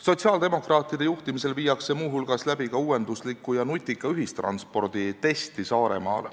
Sotsiaaldemokraatide juhtimisel viiakse muu hulgas läbi ka uuendusliku ja nutika ühistranspordi testi Saaremaal.